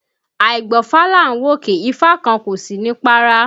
Àìgbọ́fá là ń wòkè, ifá kan kò sí ní párá